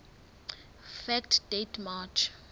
fact date march